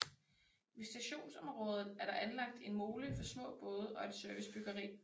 Ved stationsområdet er der anlagt en mole for små både og et servicebyggeri